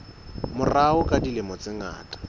morao ka dilemo tse ngata